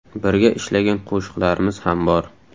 Birga ishlagan qo‘shiqlarimiz ham bor.